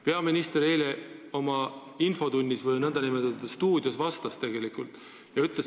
Peaminister eile oma infotunni ajal raadiostuudios, kui reporter seda tema käest küsis, tegelikult vastas sellele.